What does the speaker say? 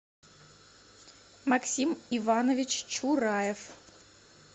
максим иванович чураев